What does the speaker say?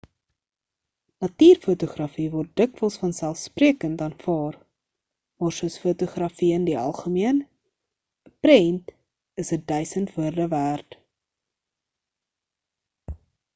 natuurfotografie word dikwels vanselfsprekend aanvaar maar soos fotografie in die algemeen 'n prent is 'n duisend woorde werd